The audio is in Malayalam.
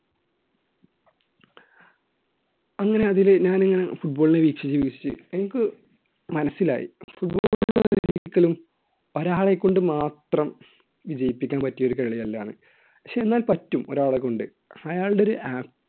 അങ്ങനെ അതിലെ ഞാനിങ്ങനെ football ലെ വീക്ഷിച്ചു വീക്ഷിച്ചു എനിക്ക് മനസ്സിലായി ഒരാളെകൊണ്ട് മാത്രം ജയിപ്പിക്കാൻ പറ്റിയ ഒരു കളിയല്ല എന്ന് പക്ഷേ എന്നാൽ പറ്റും ഒരാളെ കൊണ്ട് അയാളുടെ ഒരു